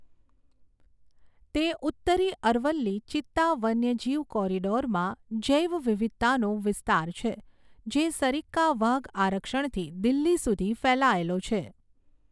તે ઉત્તરી અરવલ્લી ચિત્તા વન્યજીવ કૉરિડૉરમાં જૈવવિવિધતાનો વિસ્તાર છે, જે સરિસ્કા વાઘ આરક્ષણથી દિલ્હી સુધી ફેલાયેલો છે.